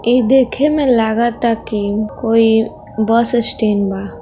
इ देखे में लागता की कोई बस स्टेंड बा।